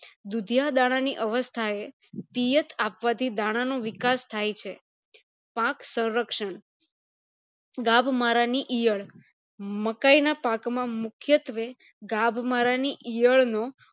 દુશીયા દાણા ની અવસ્થા એ પિયત આપવાથી દાણા નો વિકાસ થાય છે પાક સંરક્ષણ ગભ મારા ની ઈયળ મકાય ના પાક માં મુખ્યત્વે ગભ મારા ની ઈયળ નો